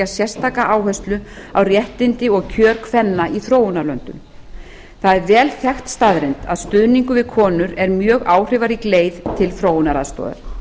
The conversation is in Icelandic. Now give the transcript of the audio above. sérstaka áherslu á réttindi og kjör kvenna í þróunarlöndum það er vel þekkt staðreynd að stuðningur við konur er mjög áhrifarík leið til þróunaraðstoðar